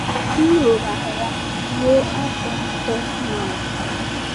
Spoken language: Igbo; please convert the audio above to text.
M lụrụ agha ruo afọ atọ na ọkara.